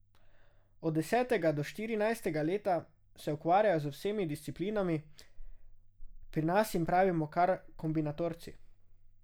Od desetega do štirinajstega leta se ukvarjajo z vsemi disciplinami, pri nas jim pravimo kar kombinatorci.